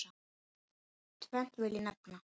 Tvennt vil ég nefna.